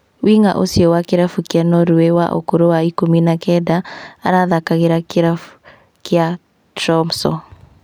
Wing'a ũcio wa kĩrabu kĩa Norway wa ũkũrũ wa ikũmi na kenda, arathakagĩra kĩrabu kĩa Tromso